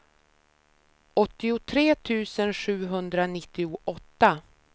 åttiotre tusen sjuhundranittioåtta